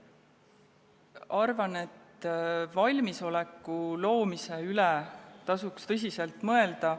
Arvan, et valmisoleku loomise üle tasuks tõsiselt mõelda.